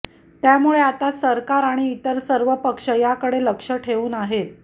त्यामुळे आता सरकार आणि इतर सर्व पक्ष याकडे लक्ष ठेवून आहेत